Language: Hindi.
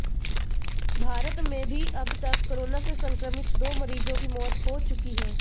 भारत में भी अब तक कोरोना से संक्रमित दो मरीजों की मौत हो चुकी है